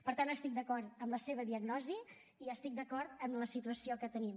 per tant estic d’acord amb la seva diagnosi i estic d’acord amb la situació que tenim